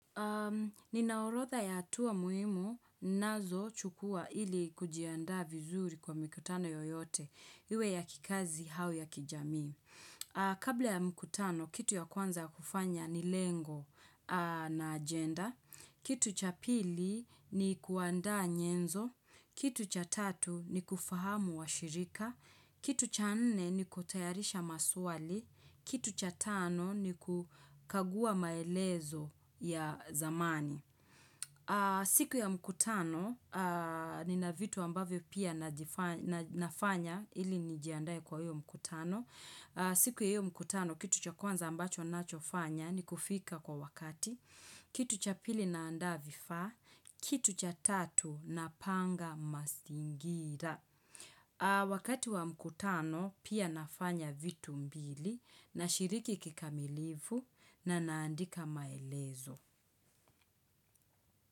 Ninaorodha ya atua muhimu, ninazo chukua ili kujiandaa vizuri kwa mikutano yoyote, iwe ya kikazi au ya kijamii. Kabla ya mkutano, kitu ya kwanza kufanya ni lengo na agenda. Kitu cha pili ni kuandaa nyenzo. Kitu cha tatu ni kufahamu washirika. Kitu cha nne ni kutayarisha maswali. Kitu cha tano ni kukagua maelezo ya zamani siku ya mkutano nina vitu ambavyo pia nafanya ili nijiandae kwa hiyo mkutano siku ya hiyo mkutano kitu cha kwanza ambacho nachofanya ni kufika kwa wakati Kitu cha pili naandaa vifaa Kitu cha tatu napanga mazingira Wakati wa mkutano pia nafanya vitu mbili nashiriki kikamilivu na naandika maelezo.